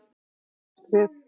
Næstu skref?